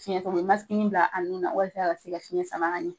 Fiyɛntɔ o bɛ bila a nu na walasa a ka se ka fiyɛn sama ka ɲɛ